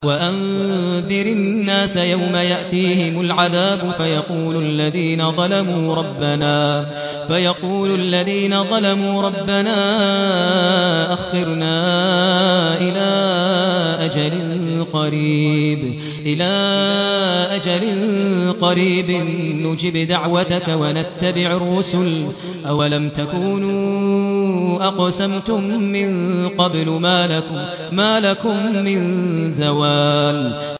وَأَنذِرِ النَّاسَ يَوْمَ يَأْتِيهِمُ الْعَذَابُ فَيَقُولُ الَّذِينَ ظَلَمُوا رَبَّنَا أَخِّرْنَا إِلَىٰ أَجَلٍ قَرِيبٍ نُّجِبْ دَعْوَتَكَ وَنَتَّبِعِ الرُّسُلَ ۗ أَوَلَمْ تَكُونُوا أَقْسَمْتُم مِّن قَبْلُ مَا لَكُم مِّن زَوَالٍ